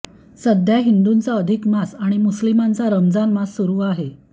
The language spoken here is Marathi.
सध्या हिंदूंचा अधिक मास आणि मुस्लिमांचा रमजान मास सुरू आहे